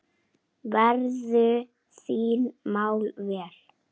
Verðu þín mál vel.